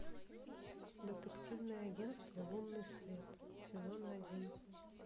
детективное агентство лунный свет сезон один